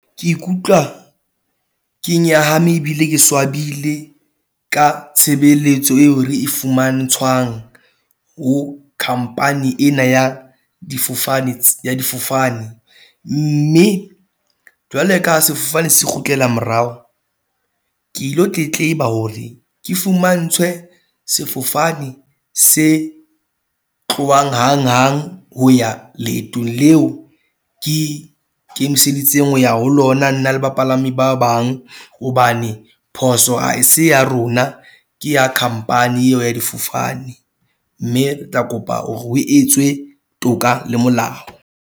Ke ikutlwa ke nyahame ebile ke swabile ka tshebeletso eo re e fumantshwang ho company ena ya difofane , ya difofane. Mme jwale ka ha sefofane se kgutlela morao, ke ilo tletleba hore ke fumantshwe sefofane se tlohang hanghang ho ya leetong leo, ke ikemiseditse ho ya ho lona nna le bapalami ba bang. Hobane phoso a e se ya rona. Ke ya khampani eo ya difofane. Mme re tla kopa hore ho etswe toka le molao.